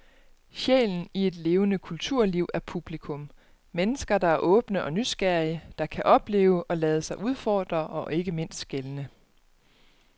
Sjælen i et levende kulturliv er publikum, mennesker der er åbne og nysgerrige, der kan opleve og lade sig udfordre og ikke mindst skelne.